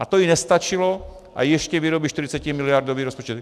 A to jí nestačilo a ještě vyrobí 40miliardový rozpočet.